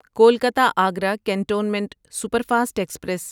Kolkata Agra cantonment superfast express